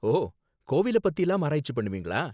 ஓ, கோவில பத்திலாம் ஆராய்ச்சி பண்ணுவீங்களா?